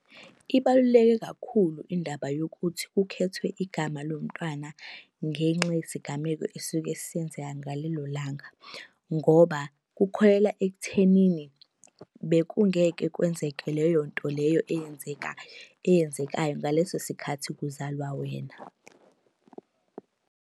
Ibaluleke kakhulu indaba yokuthi kukhethwe igama lomntwana ngenxa yesigameko esuke senzeka ngalelo langa, ngoba kukholelwa ekuthenini, bekungeke kwenzeke leyo nto leyo eyenzeka eyenzekayo ngaleso sikhathi kuzalwa wena.